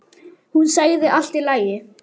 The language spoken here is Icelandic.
Hún sagði allt í lagi.